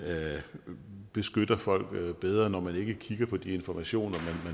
beskytter folk bedre når man ikke kigger på de informationer